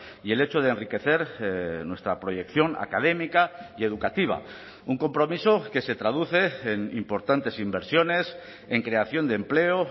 y el hecho de enriquecer nuestra proyección académica y educativa un compromiso que se traduce en importantes inversiones en creación de empleo